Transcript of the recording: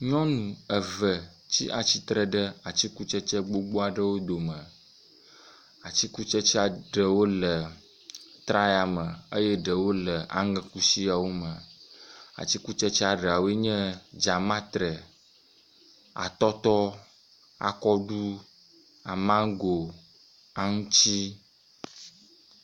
nyɔŋu eve tsatsitre ɖe atsikutsetse gbogbó aɖewo dome atsikutsetsea ɖewo le traya me eye ɖewo le aŋekusiawo me atsikutsetsea ɖawoenye dzamatre atɔtɔ akɔɖu amango aŋutsi